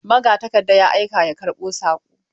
Magatakarda ya aika ya karɓo saƙo.